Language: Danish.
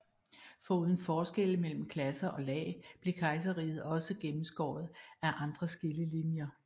Foruden forskelle mellem klasser og lag blev kejserriget også gennemskåret af andre skillelinjer